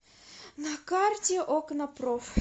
на карте окнапроф